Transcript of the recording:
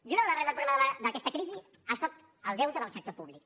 i una de les arrels del problema d’aquesta crisi ha estat el deute del sector públic